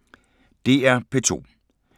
DR P2